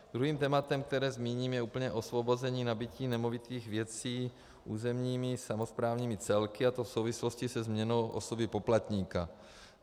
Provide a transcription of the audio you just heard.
Druhým tématem, které zmíním, je úplné osvobození nabytí nemovitých věcí územními samosprávnými celky, a to v souvislosti se změnou osoby poplatníka.